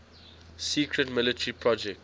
secret military project